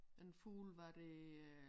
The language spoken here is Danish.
En fugl hvor det øh